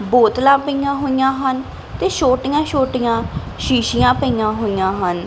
ਬੋਤਲਾਂ ਪਯੀਆਂ ਹੋਇਆਂ ਹਨ ਤੇ ਛੋਟੀਆਂ ਛੋਟੀਆਂ ਸ਼ੀਸ਼ੀਆ ਪਯੀਆਂ ਹੋਇਆਂ ਹਨ।